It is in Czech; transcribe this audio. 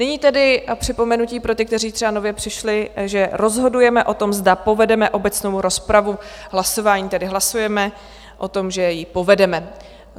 Nyní tedy připomenutí pro ty, kteří třeba nově přišli, že rozhodujeme o tom, zda povedeme obecnou rozpravu, hlasováním, tedy hlasujeme o tom, že ji povedeme.